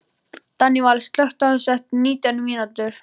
Daníval, slökktu á þessu eftir nítján mínútur.